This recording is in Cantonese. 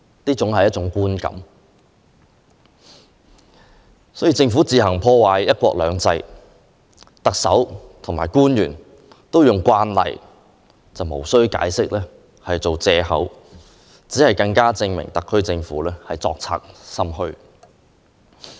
當政府自行破壞"一國兩制"，特首和官員都用"慣例"及"無須解釋"等言詞作藉口，只會更加證明特區政府作賊心虛。